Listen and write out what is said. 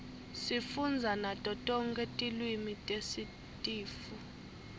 sifundza nato tonke tilwimi tesitifu